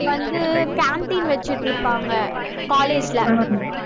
வந்து canteen வெச்சிட்டிருப்பாங்க college ல